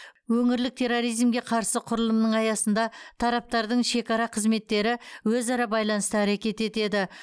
өңірлік терроризмге қарсы құрылымның аясында тараптардың шекара қызметтері өзара байланыста әрекет етеді